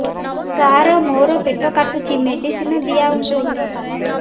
ସାର ମୋର ପେଟ କାଟୁଚି ମେଡିସିନ ଦିଆଉନ୍ତୁ